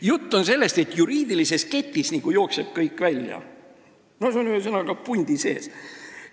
Jutt on sellest, et juriidilises ketis nagu jookseb kõik välja – noh, see on ühesõnaga pundi sees.